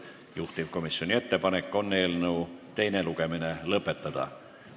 Juhtivkomisjoni ettepanek on eelnõu teine lugemine lõpetada.